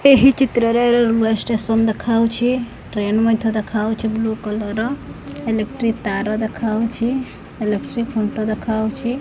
ଏହି ଚିତ୍ରରେ railway station ଦେଖାହୋଉଛି ଟ୍ରେନ୍ ମଧ୍ୟ ଦେଖାଉଛି ବ୍ଲୁ କଲର୍ ର ଇଲେକ୍ଟ୍ରି ତାର ଦେଖାଉଛି ଇଲେକ୍ଟ୍ରି ଖୁଣ୍ଟ ଦେଖାଉଛି ।